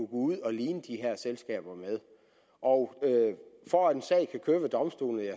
ud og ligne de her selskaber med og for at en sag kan køre ved domstolene